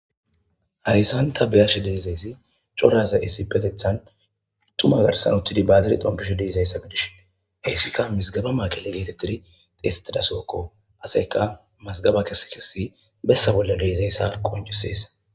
Hayssan ta beyash deezaysi codaza issipetethan tuma garsan uttidi baazir dompish deezayssa gidishin heyssikka misgaba maakille geetettidi xiestidasookko aseyka mazgaba kese kesi bessa bolla deezayssa qonciseessa.